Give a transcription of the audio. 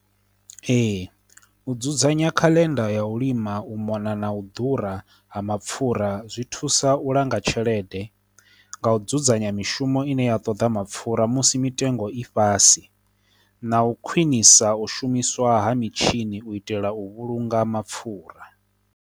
Ee, u dzudzanya khaḽenda ya u lima, u mona na u ḓura ha mapfura zwi thusa u langa tshelede, nga u dzudzanya mishumo ine ya ṱoḓa mapfura musi mitengo i fhas, na u khwinisa u shumiswa ha mitshini u itela u vhulunga mapfura.